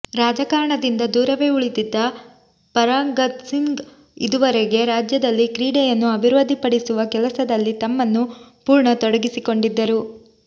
ರಾಜಕಾರಣದಿಂದ ದೂರವೇ ಉಳಿದಿದ್ದ ಪರಗತ್ಸಿಂಗ್ ಇದುವರೆಗೆ ರಾಜ್ಯದಲ್ಲಿ ಕ್ರೀಡೆಯನ್ನು ಅಭಿವೃದ್ಧಿಪಡಿಸುವ ಕೆಲಸದಲ್ಲಿ ತಮ್ಮನ್ನು ಪೂರ್ಣ ತೊಡಗಿಸಿಕೊಂಡಿದ್ದರು